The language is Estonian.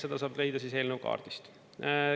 Seda saab leida siis eelnõu kaardist.